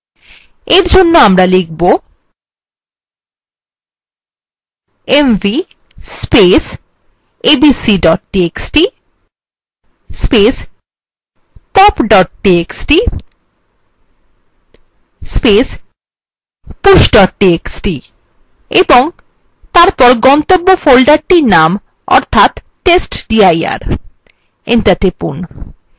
এর জন্য আমরা লিখব mv abc txt pop txt push txt এবং তারপর গন্তব্য ফোল্ডারটির name অর্থাৎ testdir enter টিপুন